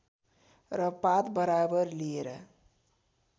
र पात बराबर लिएर